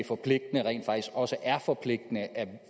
forpligtende rent faktisk også er forpligtende at